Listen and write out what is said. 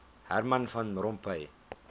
herman van rompuy